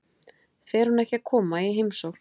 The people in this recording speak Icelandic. Fer hún ekki að koma í heimsókn?